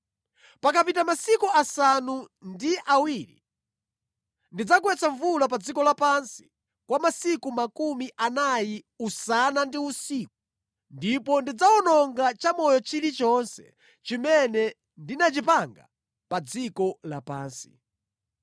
Pakapita masiku asanu ndi awiri ndidzagwetsa mvula pa dziko lapansi kwa masiku makumi anayi usana ndi usiku ndipo ndidzawononga cha moyo chilichonse chimene ndinachipanga pa dziko lapansi.”